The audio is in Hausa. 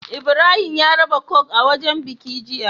Ibrahim ya raba coke a wajan biki jiya